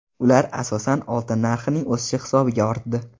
Ular, asosan, oltin narxining o‘sishi hisobiga ortdi.